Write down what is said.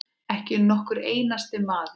Ekki nokkur einasti maður.